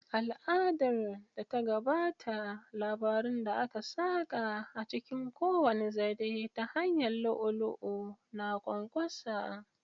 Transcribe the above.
Al'adar da ta gabata, labarun da aka saƙa a cikin kowane zare ta hanyar lu'u-lu'u na ƙwanƙwasa.